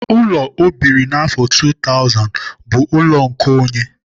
Ụlọ ọ biri n'afọ 2000 bụ ụlọ nkeonye.